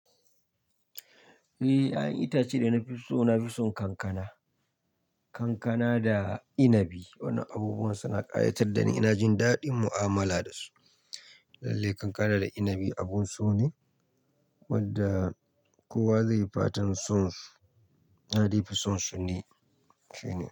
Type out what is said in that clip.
Eh, 'ya'yan itace dana fiso nafi son kankana. Kankana da inabi. Wannan abubuwan suna ƙayatar dani, ina jin daɗin mu'amala dasu. Lallai kankana da inabi abun sone wanda kowa zaiyi fatan son su. Na daifi son sune, shine.